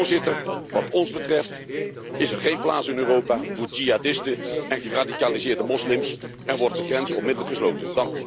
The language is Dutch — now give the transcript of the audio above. Voorzitter, wat ons betreft is er geen plaats in Europa voor jihadisten en geradicaliseerde moslims en worden de grenzen onmiddellijk gesloten.